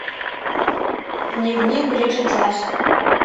дневник бриджит джонс